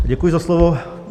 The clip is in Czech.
Děkuji za slovo.